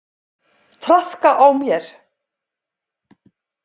Traðka á mér!